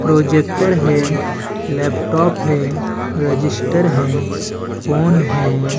Projector है laptop है register है फोन है।